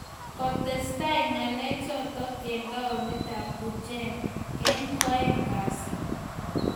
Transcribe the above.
Kotestai ng'alek chotok eng taonit ab Bhuj eng koaeng kazi